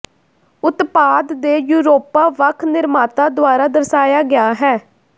ਉਤਪਾਦ ਦੇ ਯੂਰੋਪਾ ਵੱਖ ਨਿਰਮਾਤਾ ਦੁਆਰਾ ਦਰਸਾਇਆ ਗਿਆ ਹੈ